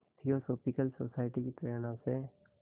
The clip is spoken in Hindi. थियोसॉफ़िकल सोसाइटी की प्रेरणा से